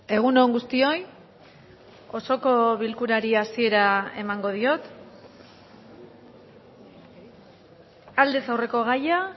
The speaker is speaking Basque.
egun on guztioi osoko bilkurari hasiera emango diot aldez aurreko gaia